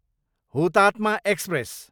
Hutatma express